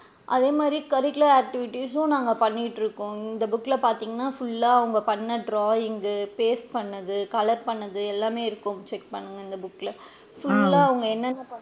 அதே மாதிரி curricular activities சும் நாங்க பண்ணிட்டு இருக்கோம் இந்த book ல பாத்திங்கனா full லா அவுங்க பண்ணுன drawing கு paste பண்ணுனது colour பண்ணுனது எல்லாமே இருக்கும் check பண்ணுங்க இந்த book ல full லா அவுங்க என்ன என்ன,